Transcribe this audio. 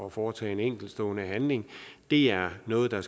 at foretage en enkeltstående handling det er noget der